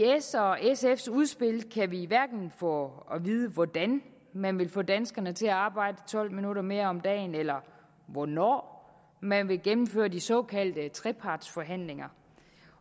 s og sfs udspil kan vi hverken få at vide hvordan man vil få danskerne til at arbejde tolv minutter mere om dagen eller hvornår man vil gennemføre de såkaldte trepartsforhandlinger